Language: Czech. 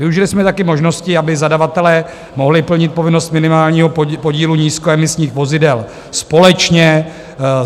Využili jsme také možnosti, aby zadavatelé mohli plnit povinnost minimálního podílu nízkoemisních vozidel společně.